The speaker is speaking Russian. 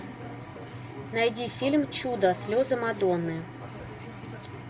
найди фильм чудо слезы мадонны